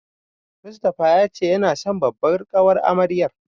Mustapha ya ce yana son babbar ƙawar amaryar.